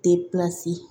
Depilasi